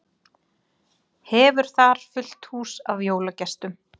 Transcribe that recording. Hefur þar fullt hús af jólagestum.